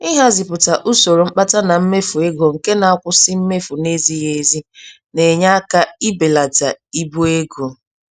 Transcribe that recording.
Ịhazipụta usoro mkpata na mmefu ego nke na akwụsị mmefu n'ezighị-ezi, na-enye aka ibelata ibu ego.